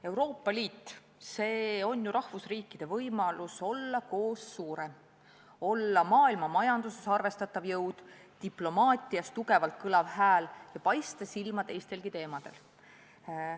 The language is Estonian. Euroopa Liit – see on ju rahvusriikide võimalus olla koos suurem, olla maailmamajanduses arvestatav jõud, diplomaatias tugevalt kõlav hääl ja paista silma teistelgi teemadel.